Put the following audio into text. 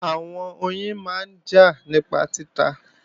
Àwọn oyin máa ń jà nípa títa